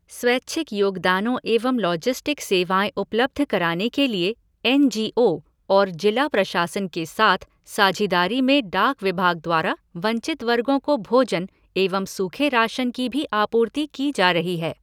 स्वैच्छिक योगदानों एवं लाॅजिस्टिक सेवाएं उपलब्ध कराने के लिए एन जी ओ और जिला प्रशासन के साथ साझीदारी में डाक विभाग द्वारा वंचित वर्गों को भोजन एवं सूखे राशन की भी आपूर्ति की जा रही है।